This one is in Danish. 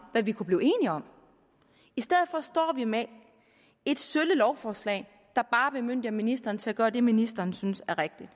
hvad vi kunne blive enige om i stedet for står vi med et sølle lovforslag der bare bemyndiger ministeren til at gøre det ministeren synes er rigtigt